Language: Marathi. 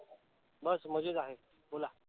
बस मजेत आहे. बोला.